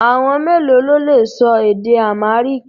Àwọn mélòó lo lè sọ èdè Amharic?